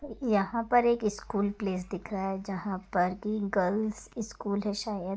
यहाँ पर एक स्कूल प्लेस दिख रहा है जहां पर कि गर्ल्स स्कूल है शायद --